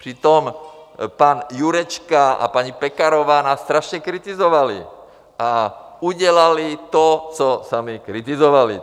Přitom pan Jurečka a paní Pekarová nás strašně kritizovali, a udělali to, co sami kritizovali.